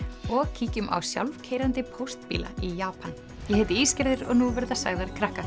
og kíkjum á sjálfkeyrandi póstbíla í Japan ég heiti og nú verða sagðar